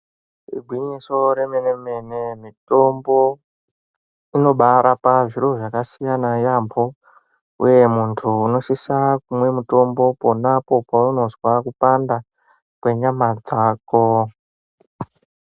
Ingwinyiso remenemene mitombo inobarapa zviro zvaka siyana yambo, uye muntu unosisa kumwe mutombo ponapo paunozwa kupanda kwenyama dzako.